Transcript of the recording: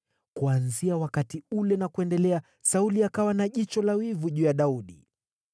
Kuanzia wakati ule na kuendelea Sauli akawa na jicho la wivu juu ya Daudi.